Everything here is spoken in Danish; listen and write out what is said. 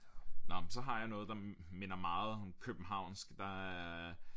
Nåh men så har jeg noget der minder meget om københanvsk der er